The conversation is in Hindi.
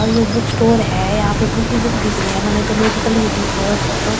और यो बुक स्टोर है यहाँ पे बुक ही बुक दिख रही है मने तोह मेडिकल दिख रहो है ऊपर तो वैसे तो ये।